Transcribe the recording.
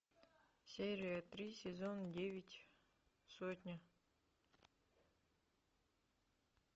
серия три сезон девять сотня